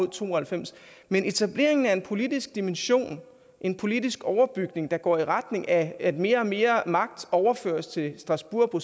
to og halvfems men etableringen af en politisk dimension en politisk overbygning der går i retning af at mere og mere magt overføres til strasbourg